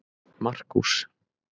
Markús